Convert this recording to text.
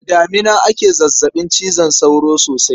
Da damina ake zazzaɓin cizon sauro sosai.